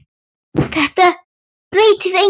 Þetta breytir engu.